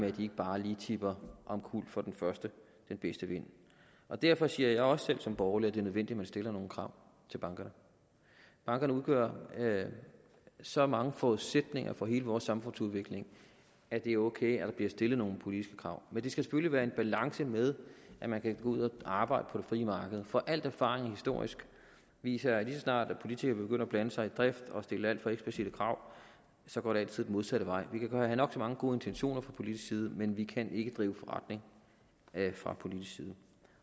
at de ikke bare lige tipper omkuld for den første og den bedste vind derfor siger jeg også selv som borgerlig at det er nødvendigt at man stiller nogle krav til bankerne bankerne udgør så mange forudsætninger for hele vores samfundsudvikling at det er ok at der bliver stillet nogle politiske krav men det skal selvfølgelig være i balance med at man kan gå ud og arbejde på det frie marked for al historisk erfaring viser at lige så snart politikere begynder at blande sig i drift og stille alt for eksplicitte krav så går det altid den modsatte vej vi kan have nok så mange gode intentioner fra politisk side men vi kan ikke drive forretning fra politisk side